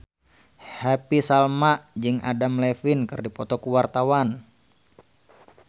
Happy Salma jeung Adam Levine keur dipoto ku wartawan